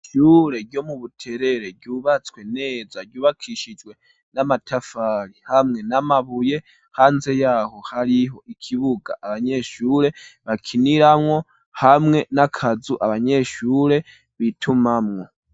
Ishure ryo mu Buterere ryubatswe neza ryubakishijwe n'amatafari hamwe n'amabuye, hanze yaho hariho ikibuga abanyeshure bakiniramwo hamwe n'akazu abanyeshure bitumamwo.